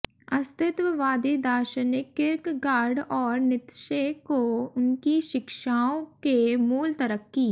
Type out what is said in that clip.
अस्तित्ववादी दार्शनिक किर्कगार्ड और नीत्शे को उनकी शिक्षाओं के मूल तरक्की